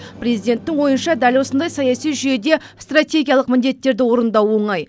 президенттің ойынша дәл осындай саяси жүйеде стратегиялық міндеттерді орындау оңай